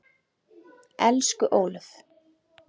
Elsku Ólöf.